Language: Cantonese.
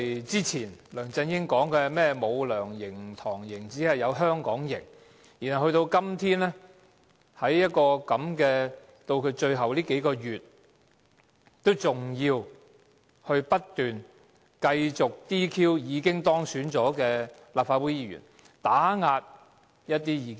之前，梁振英表示不會有"梁營"、"唐營"，只會有"香港營"，但到了今天，在他任期最後數個月之時，他仍要不斷 "DQ" 已當選的立法會議員，打壓一些異見者。